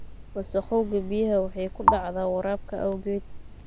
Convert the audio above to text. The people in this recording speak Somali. Wasakhowga biyaha waxay ku dhacdaa waraabka awgeed.